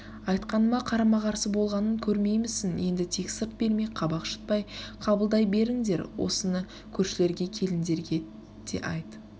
айтқаныма карама-қарсы болғанын көрмеймісін енді тек сырт бермей кабак шытпай қабылдай беріндер осыны көршілерге келіндерге деайт